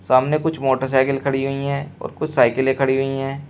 सामने कुछ मोटरसाइकिल खड़ी हुई है और कुछ साइकिले खड़ी हुई है।